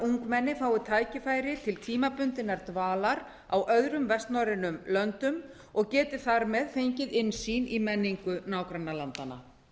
ungmenni fái tækifæri til tímabundinnar dvalar í öðrum vestnorrænum löndum og geti þar með fengið innsýn í menningu nágrannalandanna